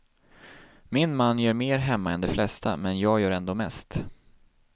Min man gör mer hemma än de flesta, men jag gör ändå mest.